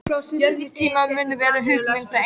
Frá svipuðum tíma mun vera hugmynd Einars